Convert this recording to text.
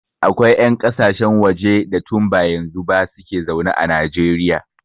Akwai 'yan ƙasashen waje da tun ba yanzu ba su ke zaune a Najeriya.